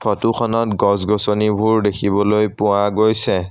ফটোখনত গছ-গছনিবোৰ দেখিবলৈ পোৱা গৈছে।